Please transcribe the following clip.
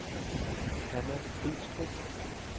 Hanna Bidstrup